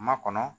Makɔnɔ